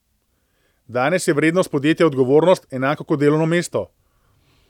Danes je vrednost podjetja odgovornost, enako kot delovno mesto.